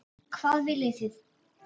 Hvað viljið þið!